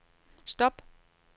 stop